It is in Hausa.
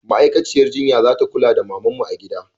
Ma'aikaciyar jinya za kula da mamanmu a gida